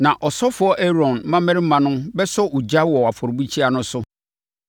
Na ɔsɔfoɔ Aaron mmammarima no bɛsɔ ogya wɔ afɔrebukyia no so.